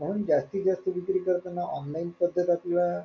कारण जास्तीत जास्त विक्री करताना online पद्धत आपल्याला,